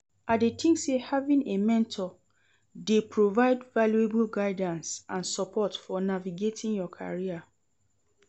I dey think say having a mentor dey provide valuable guidance and support fo navigating your career.